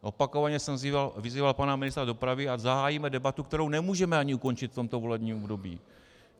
Opakovaně jsem vyzýval pana ministra dopravy, ať zahájíme debatu, kterou nemůžeme ani ukončit v tomto volebním období.